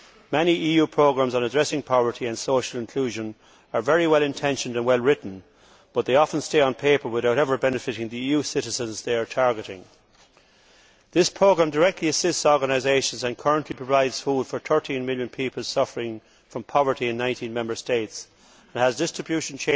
Many EU programmes addressing poverty and social inclusion are very well intentioned and well written but they often stay on paper without ever benefiting the EU citizens they are targeting. This programme directly assists organisations and currently provides food for 13 million people suffering from poverty in 19 Member States and has distribution